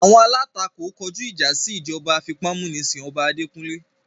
Awọn alatako kọju ija si ijọba afipamunisin ọba adekunle